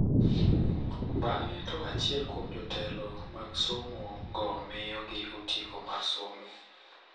Bng`e to achiel kuom jotelo mag somo go miyo gi otiko mar somo.